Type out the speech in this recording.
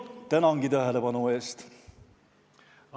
Tänan tähelepanu eest!